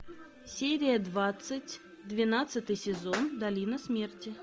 серия двадцать двенадцатый сезон долина смерти